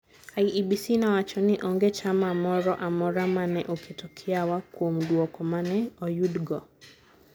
IEBC nowacho ni onge chama moro amora ma ne oketo kiawa kuom dwuoko ma ne oyudgo.